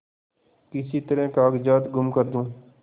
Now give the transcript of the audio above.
किसी तरह कागजात गुम कर दूँ